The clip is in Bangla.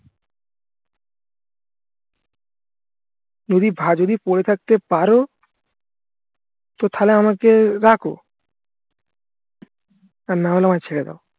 যদি যদি পরে থাকতে পারো তো তাহলে আমাকে রাখো আর নাহলে আমায় ছেড়ে দাও